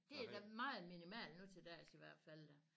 Det da meget minimal nu til dags i hvert fald da